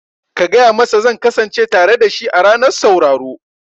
Ka gaya masa zan kasance tare dashi a ranar sauraro